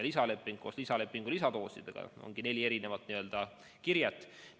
Lisaleping koos oma lisadoosidega ongi neli erinevat n-ö kirjet.